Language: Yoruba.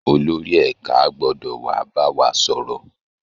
Olórí ẹ̀ka gbọ́dọ̀ wà á bá wa sọ̀rọ̀